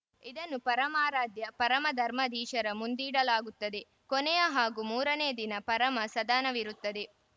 ಇದನ್ನು ಪರಮಾರಾಧ್ಯ ಪರಮಧರ್ಮಾಧೀಶರ ಮುಂದೀಡಲಾಗುತ್ತದೆ ಕೊನೆಯ ಹಾಗೂ ಮೂರನೇ ದಿನ ಪರಮ ಸದಾನವಿರುತ್ತದೆ